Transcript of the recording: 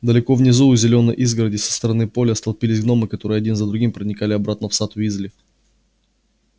далеко внизу у зелёной изгороди со стороны поля столпились гномы которые один за другим проникали обратно в сад уизли